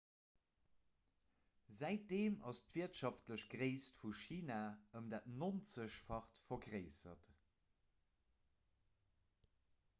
säitdeem ass d'wirtschaftlech gréisst vu china ëm dat 90-facht vergréissert